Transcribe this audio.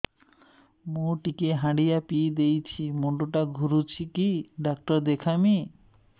ମୁଇ ଟିକେ ହାଣ୍ଡିଆ ବେଶି ପିଇ ଦେଇଛି ମୁଣ୍ଡ ଟା ଘୁରୁଚି କି ଡାକ୍ତର ଦେଖେଇମି